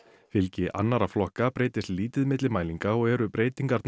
fylgi annarra flokka breytist lítið milli mælinga og eru breytingarnar